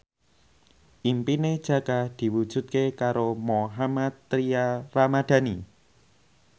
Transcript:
impine Jaka diwujudke karo Mohammad Tria Ramadhani